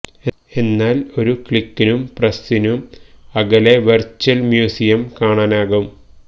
എന്നാല് ഒരു ക്ലിക്കിനും പ്രസ ്സിനോ അകലെ വെര്ച്വല് മ്യൂസിയം കാണാനാകും